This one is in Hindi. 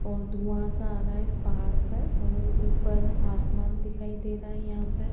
और धुआं सा आ रहा है इस पहाड़ पर और ऊपर आसमान दिखाई दे रहा है यहां पर --